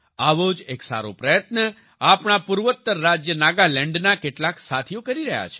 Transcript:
આવો જ એક સારો પ્રયત્ન આપણા પૂર્વોત્તર રાજ્ય નાગાલેન્ડના કેટલાક સાથીઓ કરી રહ્યા છે